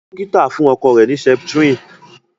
dókítà fún ọkọ rẹ ni septrin